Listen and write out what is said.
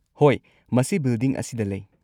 ꯍꯣꯏ, ꯃꯁꯤ ꯕꯤꯜꯗꯤꯡ ꯑꯁꯤꯗ ꯂꯩ꯫